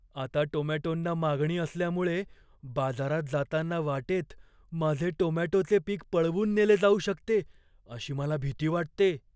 आता टोमॅटोंना मागणी असल्यामुळे, बाजारात जाताना वाटेत माझे टोमॅटोचे पिक पळवून नेले जाऊ शकते अशी मला भीती वाटते.